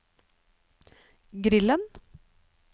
grillen